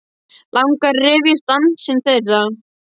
Langar að rifja upp dansinn þeirra.